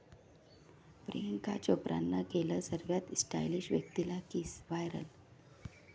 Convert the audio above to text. प्रियांका चोप्रानं केलं सर्वात स्टाइलिश व्यक्तीला किस, व्हायरल